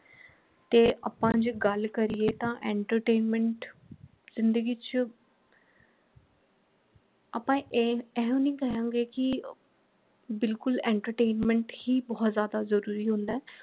ਤੇ ਆਪਾ ਜੇ ਗੱਲ ਕਰੀਏ ਤਾਂ entertainment ਜਿੰਦਗੀ ਚ ਆਪਾ ਇਹ ਇਹੋ ਨਹੀਂ ਕਹਾਂਗੇ ਕਿ ਬਿਲਕੁਲ entertainment ਹੀ ਬਹੁਤ ਜਿਆਦਾ ਜਰੂਰੀ ਹੁੰਦਾ ਹੈ।